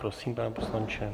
Prosím, pane poslanče.